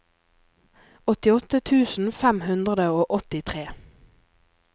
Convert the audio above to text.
åttiåtte tusen fem hundre og åttitre